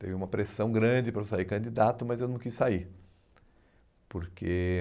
Teve uma pressão grande para eu sair candidato, mas eu não quis sair. Porque